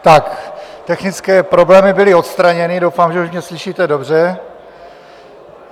Tak technické problémy byly odstraněny, doufám, že už mě slyšíte dobře.